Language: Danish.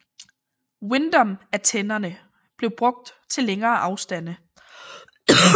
Windom antennerne blev brugt til længere afstande